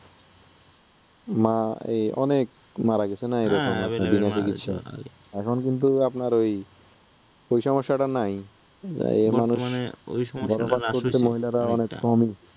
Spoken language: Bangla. মা, এ অনেক মারা যেতো , এখন কিন্তু আপনার ঐ সমস্যাটা নাই যে মানুষ,